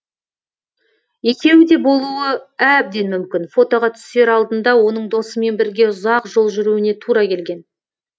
екеуі де болуы әбден мүмкін фотоға түсер алдында оның досымен бірге ұзақ жол жүруіне тура келген